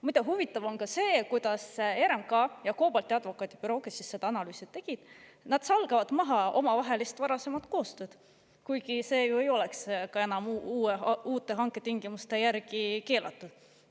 Muide, huvitav on ka see, kuidas RMK ja advokaadibüroo COBALT, kes seda analüüsi tegi, salgavad maha varasemat omavahelist koostööd, kuigi see ei oleks ju enam uute hanketingimuste järgi keelatud.